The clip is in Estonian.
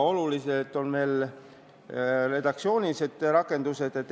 Olulised on ka redaktsioonilised rakendused.